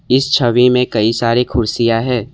इस छवि में कई सारी कुर्सियां हैं।